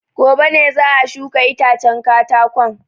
Gobe ne za a shuka itacen katakon.